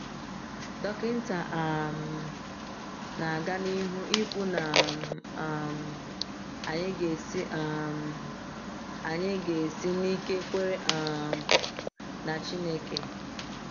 Dọkịta um na-aga n’ihu ikwu na um anyị ga-esi um anyị ga-esi n’ike kwere um na Chineke.